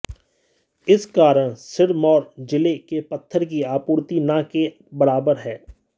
इस कारण सिरमौर जिले के पत्थर की आपूर्ति न के बराबर है